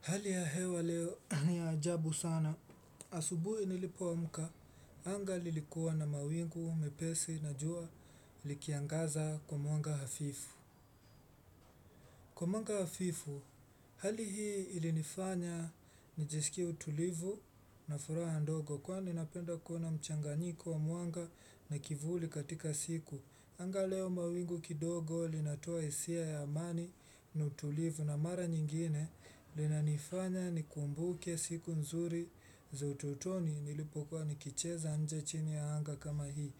Hali ya hewa leo niya ajabu sana, asubuhi nilipoamuka, anga lilikuwa na mawingu mepesi na jua likiangaza kwa mwanga hafifu. Kwa mwanga hafifu, hali hii ilinifanya nijeskie mtulivu na furaha ndogo kwa ni napenda kuna mchanganyiko wa mwanga na kivuli katika siku. Anga leo mawingu kidogo linatoa hisia ya amani na tulivu na mara nyingine lina nifanya ni kumbuke siku nzuri za utotoni nilipokuwa nikicheza nje chini ya anga kama hii.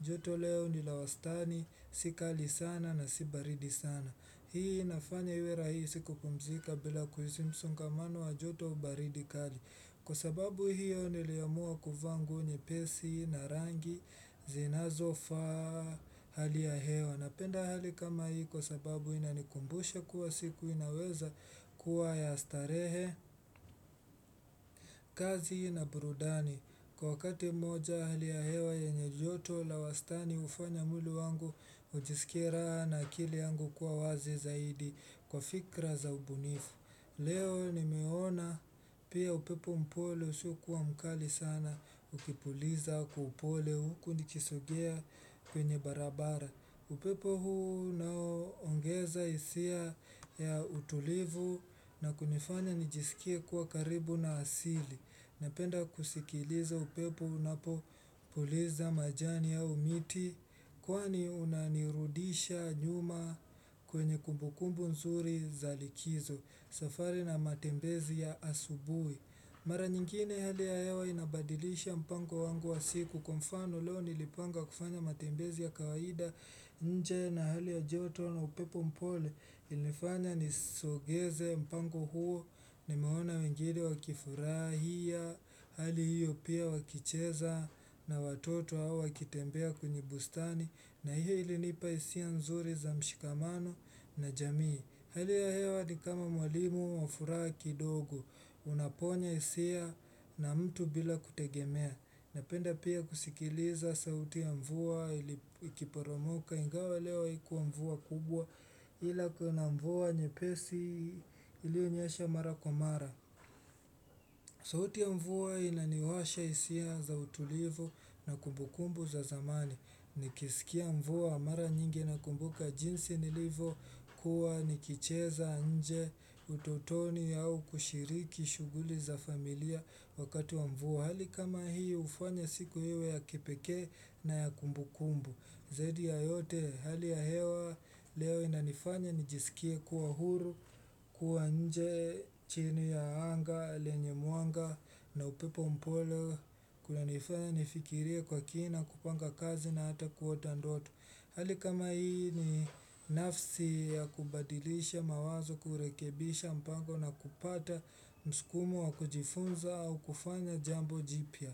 Joto leo nilawastani sikali sana na sibaridi sana. Hii inafanya iwe rahisi hii siku kupumzika bila kuhisi msongamano wa joto au baridi kali. Kwa sababu hiyo niliamua kuvanga nyepesi na rangi zinazofa hali ya hewa. Napenda hali kama hiyo kwa sababu inanikumbusha kuwa siku inaweza kuwa ya starehe kazi na brudani. Kwa wakati moja hali ya hewa yenye joto la wastani hufanya mwili wangu ujiskie na akili yangu kuwa wazi zaidi kwa fikra za ubunifu. Leo nimeona pia upepo mpole usiokua mkali sana ukipuliza kwa upole huku nikisogea kwenye barabara. Upepo huu nao ongeza isia ya utulivu na kunifanya nijisikie kuwa karibu na asili. Napenda kusikiliza upepo unapo puliza majani au miti kwani unanirudisha nyuma kwenye kumbukumbu nzuri za likizo. Safari na matembezi ya asubui mara nyingine hali ya hewa inabadilisha mpango wangu wa siku kwa mfano leo nilipanga kufanya matembezi ya kawaida nje na hali ya joto na upepo mpole ilifanya nisogeze mpango huo nimeona wengine wakifurahia hali hiyo pia wakicheza na watoto hawa wakitembea kwenye bustani na hiyo ilinipa hisia nzuri za mshikamano na jamii Hali ya hewa ni kama mwalimu wa furaha kidogo, unaponya hisia na mtu bila kutegemea, napenda pia kusikiliza sauti ya mvua ili kiporomoka, ingawa leo ikuwa mvua kubwa ila kuna mvua nyepesi ilio nyesha mara kwa mara. Sauti ya mvua inaniwasha isiha za utulivu na kumbukumbu za zamani. Nikisikia mvua mara nyingi na kumbuka jinsi nilivo kuwa nikicheza nje ututoni au kushiriki shuguli za familia wakati wa mvua. Kwa hali kama hii hufanya siku iwe ya kipeke na ya kumbu kumbu Zaidi ya yote hali ya hewa leo inanifanya nijisikie kuwa huru kuwa nje chini ya anga, lenye mwanga na upepo mpole Kuna nifanya nifikirue kwa kina kupanga kazi na hata kuota ndoto Hali kama hii ni nafsi ya kubadilisha mawazo kurekebisha mpango na kupata msukumo wa kujifunza au kufanya jambo jipia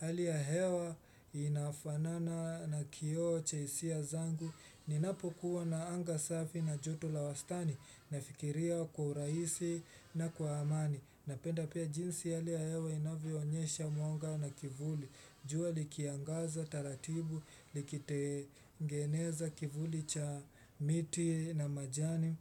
Hali ya hewa inafanana na kio cha hisia zangu Ninapo kuwa na anga safi na joto la wastani Nafikiria kwa urahisi na kwa amani Napenda pia jinsi hali ya hewa inavionyesha mwanga na kivuli jua likiangaza, taratibu, likitegeneza kivuli cha miti na majani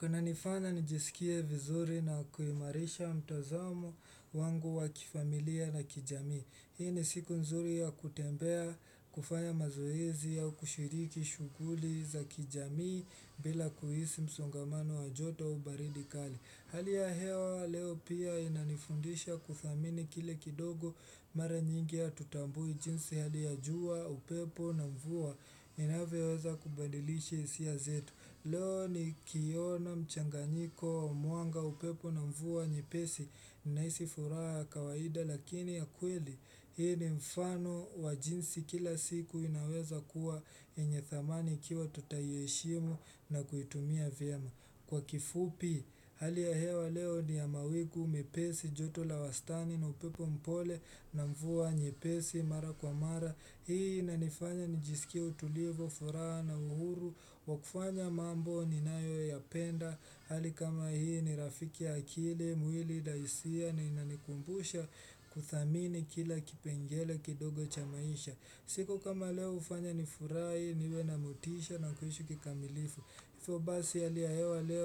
Kuna nifanya nijisikie vizuri na kuimarisha mtazamo wangu wakifamilia na kijamii. Hii ni siku nzuri ya kutembea kufanya mazoezi au kushiriki shuguli za kijami bila kuhisi msongamano wajoto au baridi kali. Hali ya hewa leo pia inanifundisha kudhamini kile kidogo mara nyingi ya hatutambui jinsi hali ya jua upepo na mvua inavoeza kubadilishi hisia zetu. Leo ni kiona mchanganyiko wa muanga upepo na mvua njipesi naisi furaa kawaida lakini ya kweli hii ni mfano wajinsi kila siku inaweza kuwa yenye thamani ikiwa tutaieshimu na kuitumia vyema. Kwa kifupi, hali ya hewa leo ni ya mawingu, mepesi, joto la wastani, na upepo mpole, na mvua, nyepesi, mara kwa mara, hii inanifanya ni jiskie utulivu, furaha na uhuru, wakufanya mambo ni nayo ya penda, hali kama hii ni rafiki akili, muili daisia, na inanikumbusha kuthamini kila kipengele kidogo cha maisha. Siko kama leo hufanya nifurai, niwe na motisha na kuishi kikamilifu Ifo basi hali ya hewa leo.